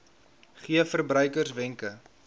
gee verbruikers wenke